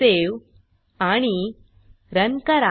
save आणि run करा